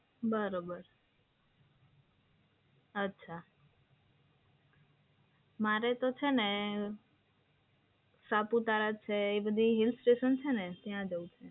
બરોબર, અચ્છા. મારે તો છે ને સાપુતારા જે હિલસ્ટેશન છે ને ત્યાં જવું છે.